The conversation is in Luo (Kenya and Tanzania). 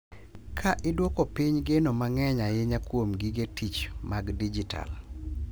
Ka idwoko piny geno mang’eny ahinya kuom gige tich mag dijital.